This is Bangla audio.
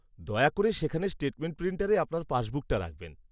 দয়া করে সেখানে স্টেটমেন্ট প্রিন্টারে আপনার পাসবুকটা রাখবেন।